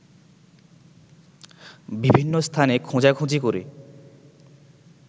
বিভিন্ন স্থানে খোঁজাখুঁজি করে